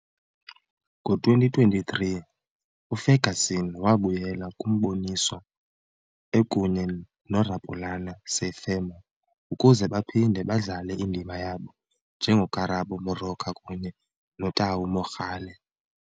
Ngo-2023, uFerguson wabuyela kumboniso, ekunye noRapulana Seiphemo ukuze baphinde badlale indima yabo njengoKarabo Moroka kunye noTau Mogale.